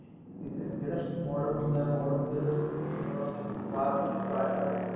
ਠੀਕ ਏ ਜਿਹੜਾ modem ਹੁੰਦਾ modem ਜਦੋਂ ਉਸ ਚ modem ਵਿੱਚ ਬਾਹਰ ਤੋਂ ਜਿਹੜੀ wire ਆ ਰਹੀ ਏ